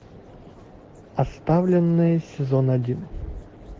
оставленные сезон один